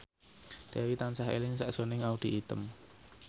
Dewi tansah eling sakjroning Audy Item